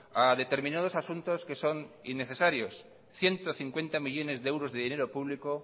a determinados asuntos que son innecesarios ciento cincuenta millónes de dinero público